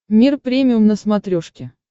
мир премиум на смотрешке